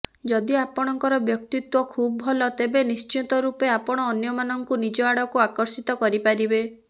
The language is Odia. ଯଦି ଆପଣଙ୍କର ବ୍ୟକ୍ତିତ୍ୱ ଖୁବ୍ ଭଲ ତେବେ ନିଶ୍ଚିତ ରୂପେ ଆପଣ ଅନ୍ୟମାନଙ୍କୁ ନିଜ ଆଡକୁ ଆକର୍ଷିତ କରିପାରିବେ